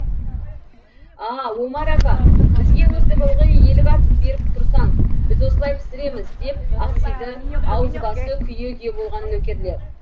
а омар ака бізге өстіп ылғи елік атып беріп тұрсаң біз осылай пісіреміз деп ақсиды аузы басы күйе күйе болған нөкерлер